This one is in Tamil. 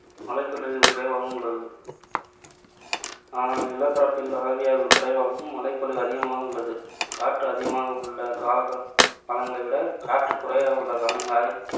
மழைப்பொழிவு குறைவாகவும் உள்ளது. ஆனால் நிலப்பரப்பில் ஆவியாதல் குறைவாகவும், மழைப்பொழிவு அதிகமாகவும் உள்ளது. காற்று அதிகமாக உள்ள கால~ காலங்களைவிட காற்று குறைவாக உள்ள காலங்களில்